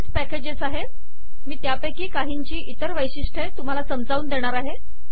अशी बरीच पॅकेजेस आहेत मी त्यापैकी काहींची इतर वैशिष्ट्ये समजावून देणार आहे